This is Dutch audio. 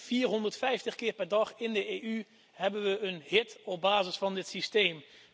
450 keer per dag in de EU hebben we een hit op basis van dit systeem.